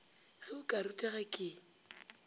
ge o ka rutega ke